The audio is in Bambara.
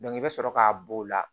i bɛ sɔrɔ k'a b'o la